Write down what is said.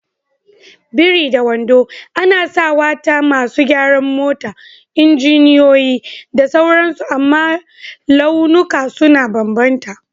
biri da wando, ana sawa ta masu gyaran mota, injiniyoyi, da sauransu amma launuka sun bambanta.